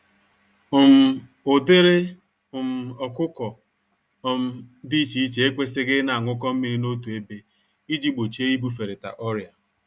um Ụdịrị um ọkụkọ um dị iche iche ekwesighi ịna añụkọ mmírí n'otu ébé, iji gbochie ibuferịta ọrịa.